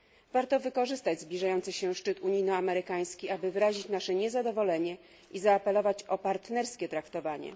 Warto wykorzystać zbliżający się szczyt unijno amerykański, aby wyrazić nasze niezadowolenie i zaapelować o partnerskie traktowanie.